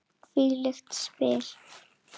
Hvílík spil!